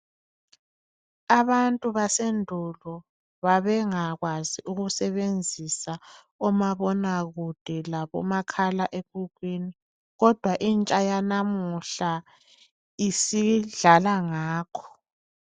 Abantu basendulo babengakwazi ukusebenzisa omabonakude labomakhalekhukhwini kodwa intsha yalamuhla isidlala ngakho.